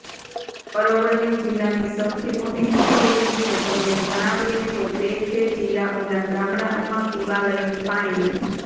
અરવલ્લી જિલ્લાની સૌથી મોટી મુશ્કેલી વિશે તમને જણાવીએ તો તે છે જિલ્લાઓના ગામડાઓમાં પીવાલાયક પાણીની